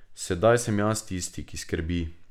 Sedaj sem jaz tisti, ki skrbi.